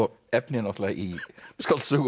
efni í skáldsögu